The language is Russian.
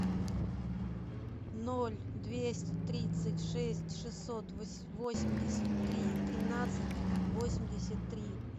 ноль двести тридцать шесть шестьсот восемьдесят три тринадцать восемьдесят три